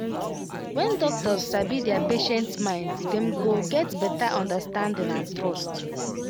when doctors sabi their patients mind them go get better understanding and trust